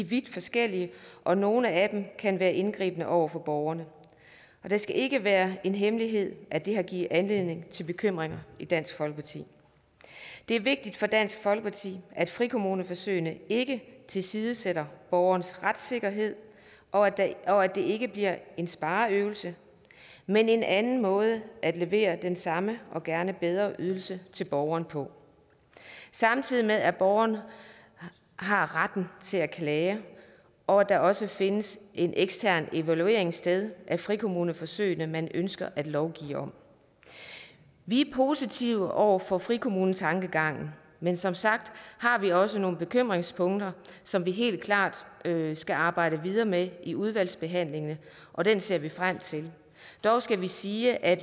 vidt forskellige og nogle af dem kan være indgribende over for borgerne det skal ikke være en hemmelighed at det har givet anledning til bekymringer i dansk folkeparti det er vigtigt for dansk folkeparti at frikommuneforsøgene ikke tilsidesætter borgernes retssikkerhed og at det ikke bliver en spareøvelse men en anden måde at levere den samme og gerne bedre ydelse til borgerne på samtidig med at borgerne har retten til at klage og at der også findes en ekstern evaluering sted af frikommuneforsøgene man ønsker at lovgive om vi er positive over for frikommunetankegangen men som sagt har vi jo også nogle bekymringspunkter som vi helt klart skal arbejde videre med i udvalgsbehandlingen og den ser vi frem til dog skal vi sige at